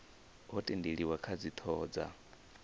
ho tendelaniwa kha dzithoho dza